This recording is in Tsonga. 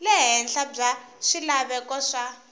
le henhla bya swilaveko swa